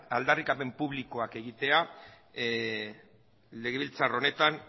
aldarrikapen publikoak egitea legebiltzar honetan